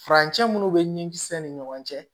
Furancɛ minnu bɛ ɲinkisɛ ni ɲɔgɔn cɛ